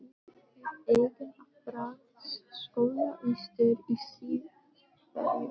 Við eigum afbragðs skóla austur í Síberíu.